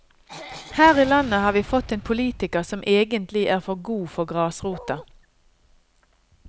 Her i landet har vi fått en politiker som egentlig er for god for grasrota.